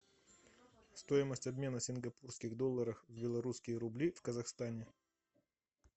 стоимость обмена сингапурских долларов в белорусские рубли в казахстане